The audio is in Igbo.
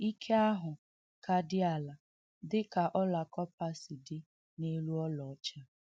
Ike ahụ ka dị ala, dịka ọla kọpa si dị n’elu ọla ọcha.